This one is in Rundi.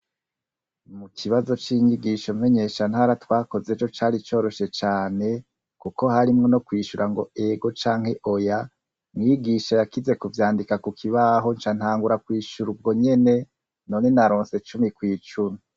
Mu kibazo c'inyigisho menyesha ntara twakoze ejo cari coroshe cane ,kuko harimwe no kwishura ngo ego canke oya, mwigisha yakize kuvyandika ku kibaho ncantangura kw'ishura ubwo nyene, none naronse cumi kw' icumi.